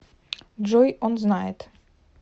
джой он знает